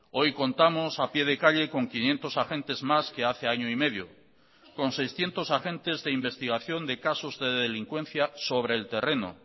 hoy contamos a pie de calle con quinientos agentes más que hace año y medio con seiscientos agentes de investigación de casos de delincuencia sobre el terreno